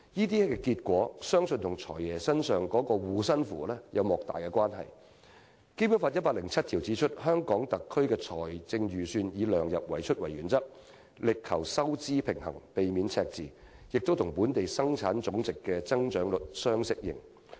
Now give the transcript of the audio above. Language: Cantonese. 這種結果相信與"財爺"的"護身符"有莫大關係，因為《基本法》第一百零七條訂明："香港特別行政區的財政預算以量入為出為原則，力求收支平衡，避免赤字，並與本地生產總值的增長率相適應。